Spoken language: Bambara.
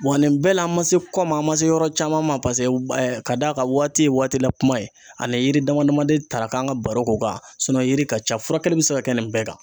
Wa nin bɛɛ la, an ma se kɔ ma , an ma se yɔrɔ caman ma , paseke ka d'a, kan waati ye waati la kuma , an yiri dama dama de ta k'an ka baro k'o kan yiri ka ca furakɛli bɛ se ka kɛ nin bɛɛ kan.